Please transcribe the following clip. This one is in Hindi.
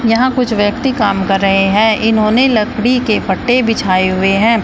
यहां कुछ व्यक्ति काम कर रहे है इन्होंने लकड़ी के पट्टे बिछाए हुए है।